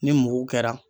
Ni mugu kɛra